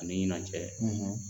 Ani ɲinan cɛ